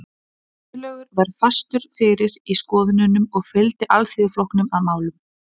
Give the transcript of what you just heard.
Guðlaugur var fastur fyrir í skoðununum og fylgdi Alþýðuflokknum að málum.